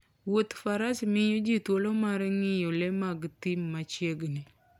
Wuodh faras miyo ji thuolo mar ng'iyo le mag thim machiegni